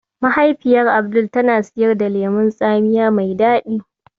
Mahaifiyar Abdul tana siyar daga lemon tsamiya mai daɗi.